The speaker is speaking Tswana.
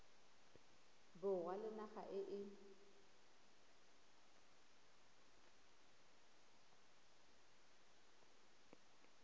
borwa le naga e e